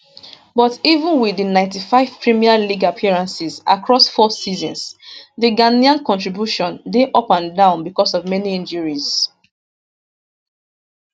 but even wit di 95 premier league appearances across four seasons di ghanaian contribution dey up and down becos of many injuries